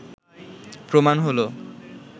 প্রমাণ হলো